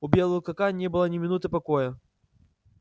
у белого клыка не было ни минуты покоя